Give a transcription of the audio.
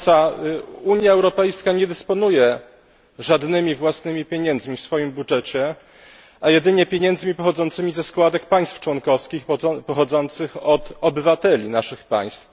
Pani Przewodnicząca! Unia Europejska nie dysponuje żadnymi własnymi pieniędzmi w swoim budżecie, a jedynie pieniędzmi pochodzącymi ze składek państw członkowskich, pochodzących od obywateli naszych państw.